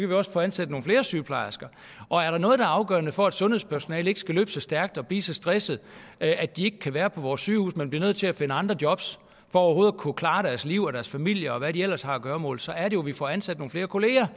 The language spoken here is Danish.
vi også få ansat nogle flere sygeplejersker og er der noget der er afgørende for at sundhedspersonalet ikke skal løbe så stærkt og blive så stressede at de ikke kan være på vores sygehuse men bliver nødt til at finde andre jobs for overhovedet at kunne klare deres liv og deres familier og hvad de ellers har af gøremål så er det jo at vi får ansat nogle flere kollegaer